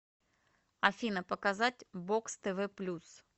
афина показать бокс тв плюс